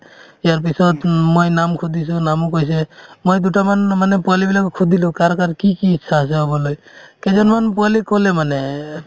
ইয়াৰ পিছত মই নাম সুধিছো নামো কৈছে মই দুটামান মানে পোৱালিবিলাকক সুধিলো কাৰ কাৰ কি কি ইচ্ছা আছে হ'বলৈ কেইজনমান পোৱালিয়ে ক'লে মানে এহ্